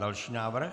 Další návrh?